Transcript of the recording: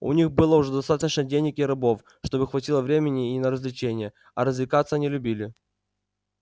у них было уже достаточно денег и рабов чтобы хватило времени и на развлечения а развлекаться они любили